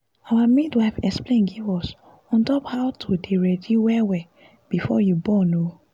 our midwife explain give us on top how to dey ready well well before you born ooo